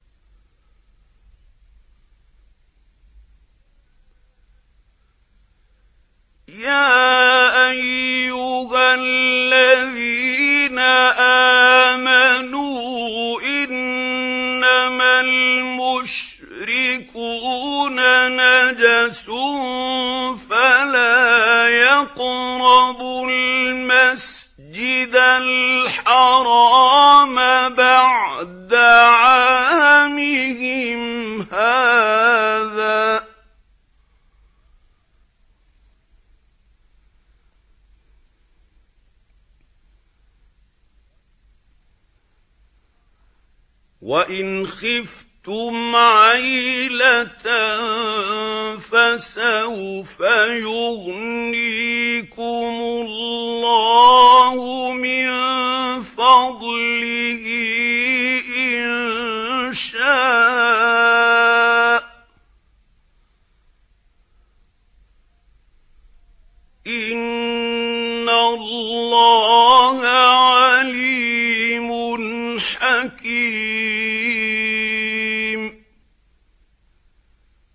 يَا أَيُّهَا الَّذِينَ آمَنُوا إِنَّمَا الْمُشْرِكُونَ نَجَسٌ فَلَا يَقْرَبُوا الْمَسْجِدَ الْحَرَامَ بَعْدَ عَامِهِمْ هَٰذَا ۚ وَإِنْ خِفْتُمْ عَيْلَةً فَسَوْفَ يُغْنِيكُمُ اللَّهُ مِن فَضْلِهِ إِن شَاءَ ۚ إِنَّ اللَّهَ عَلِيمٌ حَكِيمٌ